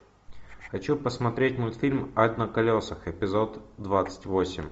хочу посмотреть мультфильм ад на колесах эпизод двадцать восемь